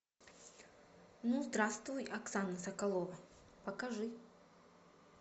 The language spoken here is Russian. ну здравствуй оксана соколова покажи